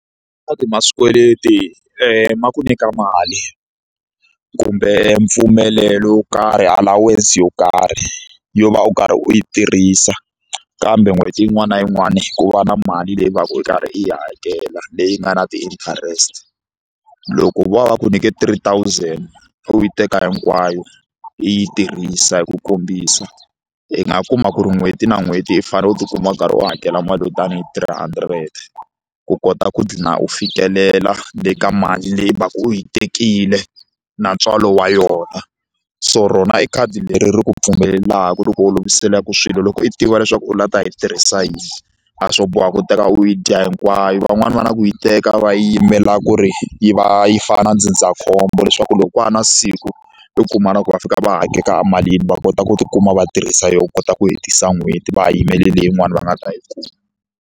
ma swikweleti ma ku nyika mali kumbe mpfumelelo wo karhi allowance yo karhi yo va u karhi u yi tirhisa kambe n'hweti yin'wana na yin'wana ku va na mali leyi u va ka u karhi u yi hakela leyi nga na ti-interest loko vo va va ku nyike three thousand u yi teka hinkwayo i yi tirhisa hi ku kombisa i nga kuma ku ri n'hweti na n'hweti i fanele u tikuma u karhi u hakela mali yo tani hi three hundred ku kota ku dlina u fikelela le ka mali leyi u va ka u yi tekile na ntswalo wa yona so rona i khadi leri ri ku pfumelelaka ri ku oloviselaka swilo loko i tiva leswaku u lava ta yi tirhisa yini a swo boha ku teka u yi dya hinkwayo van'wani va na ku yi teka va yimela ku ri yi va yi fana na ndzindzakhombo leswaku loko ko va na siku u kuma na ku va fika va hakela emalini va kota ku tikuma va tirhisa yona ku kota ku hetisa n'hweti va ha yimele leyin'wani va nga ta yi kuma.